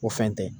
O fɛn tɛ